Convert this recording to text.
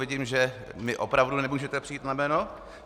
Vidím, že mi opravdu nemůžete přijít na jméno.